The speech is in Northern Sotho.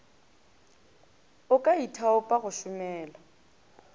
o ka ithaopa go šomela